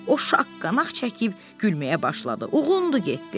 O şaqqanaq çəkib gülməyə başladı, uğundu getdi.